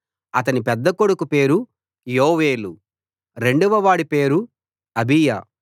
అతని పెద్ద కొడుకు పేరు యోవేలు రెండవవాడి పేరు అబీయా